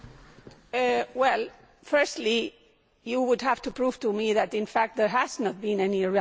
Firstly you would have to prove to me that in fact there has not been any relocation away from these countries.